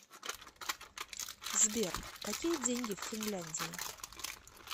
сбер какие деньги в финляндии